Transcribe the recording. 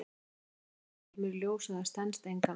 Við nánari skoðun kemur í ljós að það stenst engan veginn.